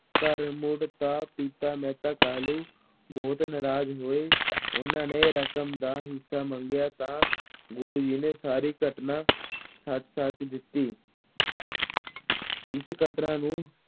ਘਰ ਮੁੜੇ ਤਾਂ ਪਿਤਾ ਮਹਿਤਾ ਕਾਲੂ ਬਹੁਤ ਨਰਾਜ਼ ਹੋਏ, ਉਹਨਾਂ ਨੇ ਰਕਮ ਦਾ ਹਿਸਾ ਮੰਗਿਆ ਤਾਂ ਗੁਰੂ ਜੀ ਨੇ ਸਾਰੀ ਘਟਨਾ ਸੱਚ-ਸੱਚ ਦਿੱਤੀ ਇਸ ਘਟਨਾ ਨੂੰ